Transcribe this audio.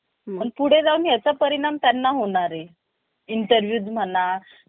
जत्रा पाहायला जायचो. तेव्हा खूप मज्जा यायची. ते क्षण आठवले कि स्वतःशीच हसू येते. कारण बालपणीचे दिवस आपल्याला सर्वात मनात